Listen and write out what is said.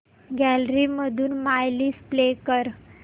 gallery मधून my list play कर